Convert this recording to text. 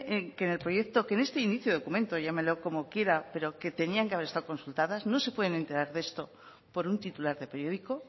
que en el proyecto que en este inicio de documento llámelo como quiera pero que tenían que haber estado consultadas no se pueden enterar de esto por un titular de periódico